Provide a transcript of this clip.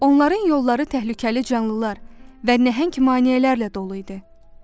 Onların yolları təhlükəli canlılar və nəhəng maneələrlə dolu idi.